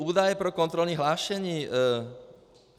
Údaje pro kontrolní hlášení.